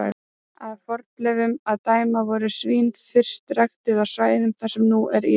Af fornleifum að dæma voru svín fyrst ræktuð á svæðum þar sem nú er Írak.